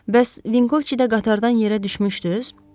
Bəs Vinkovçidə qatardan yerə düşmüşdüz?